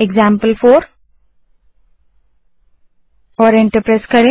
example four command type करें और enter दबायें